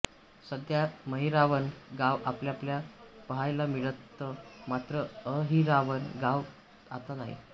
सध्या महिरावण गाव आपल्याला पहायला मिळतं मात्र अहिरावण गाव आता नाही